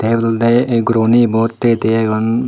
dol dol de ey guro gune ibot tigey tigey agon.